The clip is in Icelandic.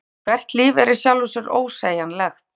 Hvert líf er í sjálfu sér ósegjanlegt.